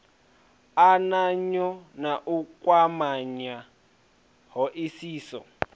ananya na u kwamanya hoisiso